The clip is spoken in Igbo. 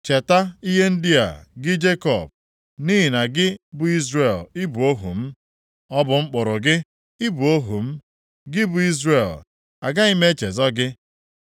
“Cheta ihe ndị a, gị Jekọb, nʼihi na gị bụ Izrel, ị bụ ohu m. Ọ bụ m kpụrụ gị, ị bụ ohu m; gị bụ Izrel, agaghị m echezọ gị.